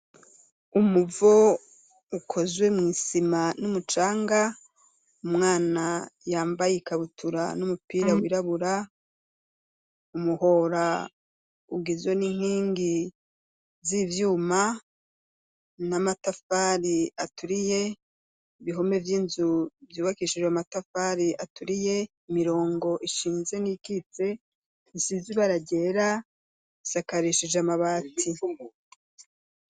Umuvo ukozwe mwisima n'umucanga, umwana yambaye ikabutura n'umupira wirabura, umuhora ugizwe n'inkingi z'ivyuma n'amatafari aturiye ibihome vy'inzu byubakishije amatafari aturiye imirongo ishinze n'ikitse isizi bara ryera isakarishije amabati.